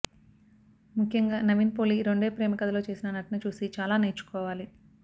ముఖ్యంగా నవీన్ పౌలి రెండో ప్రేమకథలో చేసిన నటన చూసి చాలా నేర్చుకోవాలి